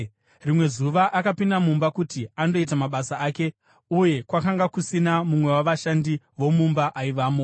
Rimwe zuva akapinda mumba kuti andoita mabasa ake, uye kwakanga kusina mumwe wavashandi vomumba aivamo.